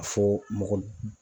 fɔ mɔgɔ